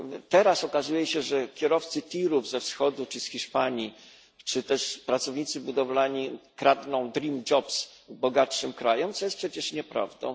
Teraz okazuje się, że kierowcy tirów ze wschodu czy z Hiszpanii, czy też pracownicy budowlani kradną dream jobs bogatszym krajom, co jest przecież nieprawdą.